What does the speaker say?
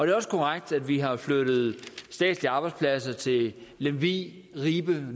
er også korrekt at vi har flyttet statslige arbejdspladser til lemvig ribe